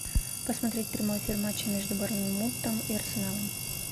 посмотреть прямой эфир матча между борнмутом и арсеналом